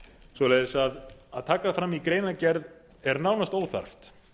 svoleiðis að taka það fram í greinargerð er nánast óþarft